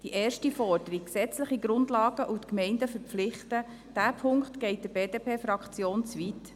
Die erste Forderung, gesetzliche Grundlagen zu schaffen und die Gemeinden zu verpflichten, geht der BDP-Fraktion zu weit.